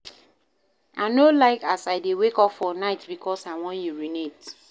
I no like as I dey wake up for night because I wan urinate.